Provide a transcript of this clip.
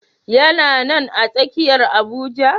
Yana nan a tsakiyar Abuja.